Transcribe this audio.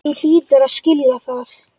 Þú hlýtur að skilja það.